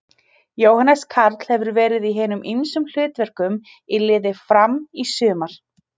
Jóhannes Karl hefur verið í hinum ýmsum hlutverkum í liði Fram í sumar.